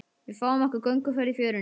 Við fáum okkur gönguferð í fjörunni.